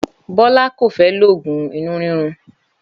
Bólá kò fé loògùn inú rírun